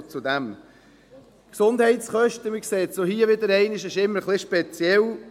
Die Gesundheitskosten, man sieht es auch hier wieder einmal, sind immer ein bisschen speziell.